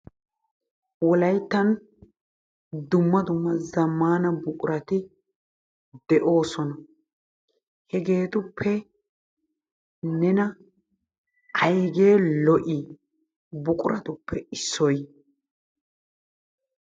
wolayttan dumma dumma zamaana buqurati de'oosona. Hegeetuppe nena aygee lo'ii buqquratuppe issoy?